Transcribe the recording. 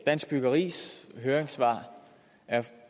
dansk byggeris høringssvar er